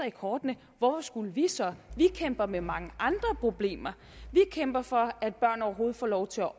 i kortene hvorfor skulle vi så vi kæmper med mange andre problemer vi kæmper for at børn overhovedet får lov til at